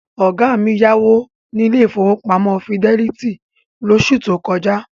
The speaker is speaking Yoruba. Ọ̀gá mi yá owó ní ilé ìfowópamọ́ Fidelity lóṣù tó kọjá.